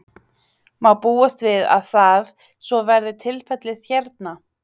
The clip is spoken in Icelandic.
Má búast við að það, svo verði tilfellið hérna?